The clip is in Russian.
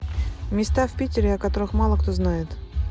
места в питере о которых мало кто знает